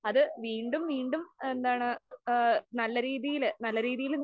അത് വീണ്ടും വീണ്ടും എന്താണ് ആ നല്ല രീതിയില് നല്ല രീതിയില്